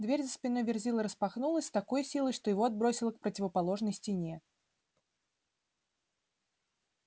дверь за спиной верзилы распахнулась с такой силой что его отбросило к противоположной стене